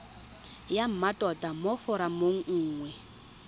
ya mmatota mo foromong nngwe